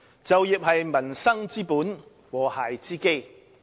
就業是民生之本，和諧之基。